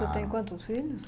você tem quantos filhos?